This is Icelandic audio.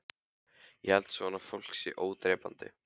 Ég held að svona fólk sé ódrepandi